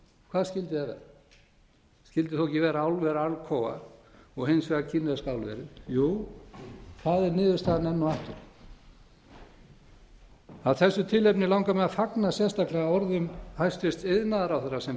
hvað skyldi það vera skyldi þó ekki vera álver alcoa og hins vegar kínverska álverið jú það er niðurstaðan enn og aftur af þessu tilefni langar mig að fagna sérstaklega orðum hæstvirts iðnaðarráðherra sem